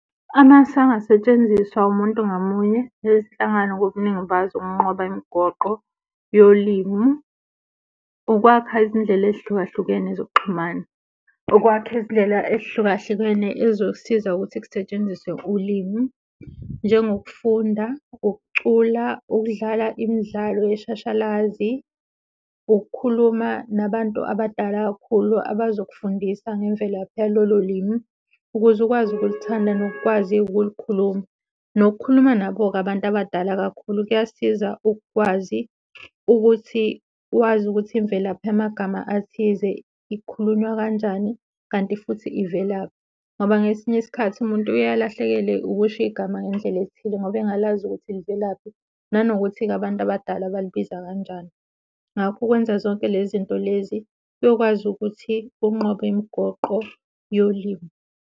Amasu angasetshenziswa umuntu ngamunye nezinhlangano ngobuningi bazo ukunqoba imigoqo yolimi, ukwakha izindlela ezihlukahlukene zokuxhumana, ukwakha izindlela ezihlukahlukene ezizosiza ukuthi kusetshenziswe ulimi njengokufunda, ukucula, ukudlala imidlalo yeshashalazi, ukukhuluma nabantu abadala kakhulu abazokufundisa ngemvelaphi yalolo limi ukuze ukwazi ukulithanda nokukwazi-ke ukulikhuluma. Nokukhuluma nabo-ke abantu abadala kakhulu kuyasiza ukwazi ukuthi wazi ukuthi imvelaphi yamagama athize ikhulunywa kanjani, kanti futhi ivelaphi. Ngoba ngesinye isikhathi umuntu uye alahlekelwe ukusho igama ngendlela ethile ngoba engalazi ukuthi livelaphi, nanokuthi-ke abantu abadala balibiza kanjani. Ngakho ukwenza zonke lezi zinto lezi kuyokwazi ukuthi unqobe imigoqo yolimi.